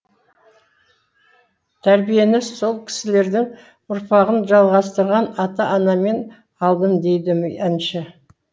тәрбиені сол кісілердің ұрпағын жалғастырған ата анамен алдым дейді әнші